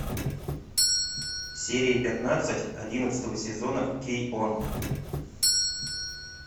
серия пятнадцать одиннадцатого сезона кей он